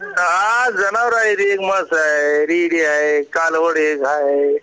हा जनावर आहे ति एक म्हस आहे रेड़े आहे कालवड हे घार हे